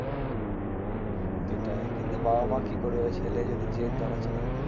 সেটাই কিন্তু বাবা-মা কি করবে ছেলে যদি জেদ ধরেছে না